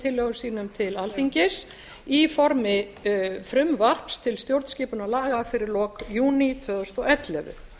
tillögum sínum til alþingis í formi frumvarps til stjórnarskipunarlaga fyrir lok júní tvö þúsund og ellefu